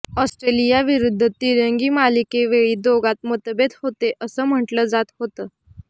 ऑस्ट्रेलियाविरुद्ध तिरंगी मालिकेवेळी दोघांत मतभेद होते असं म्हटलं जात होती